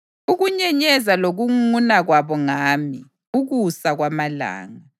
ukunyenyeza lokungunguna kwabo ngami ukusa kwamalanga.